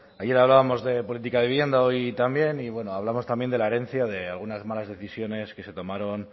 ayer hablábamos de política de vivienda hoy también y bueno hablamos también de la herencia de algunas malas decisiones que se tomaron